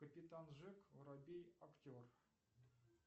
капитан джек воробей актер